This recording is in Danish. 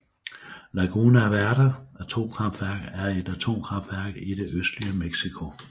Laguna Verde atomkraftværk er et atomkraftværk i det østlige Mexico